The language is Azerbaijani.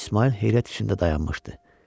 İsmayıl heyrət içində dayanmışdı.